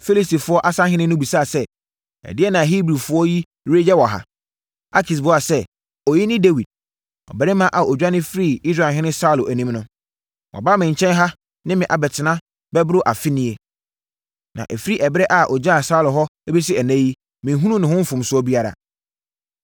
Filistifoɔ asahene no bisaa sɛ, “Ɛdeɛn na Hebrifoɔ yi reyɛ wɔ ha?” Akis buaa sɛ, “Ɔyi ne Dawid, ɔbarima a ɔdwane firii Israelhene Saulo anim no. Waba me nkyɛn ha ne me abɛtena bɛboro afe nie. Na ɛfiri ɛberɛ a ɔgyaa Saulo hɔ bɛsi ɛnnɛ yi, menhunuu ne ho mfomsoɔ biara.”